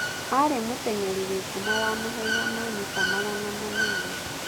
arĩ mũtenyeri wĩ ngumo wa mahenya ma mita magana manana.